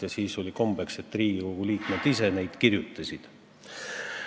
Ja siis oli kombeks, et Riigikogu liikmed ise kirjutasid eelnõusid.